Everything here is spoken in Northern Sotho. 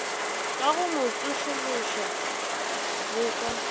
ka go mmotšološoša le ka